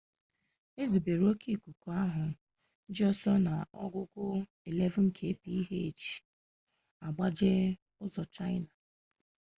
ezubere oke ikuku ahụ ji ọsọ n'ogugo 11kph agbaje ụzọ chaịna